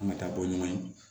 An ka taa bɔ ɲuman ye